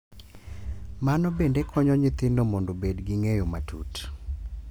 Mano bende konyo nyithindo mondo obed gi ng’eyo matut .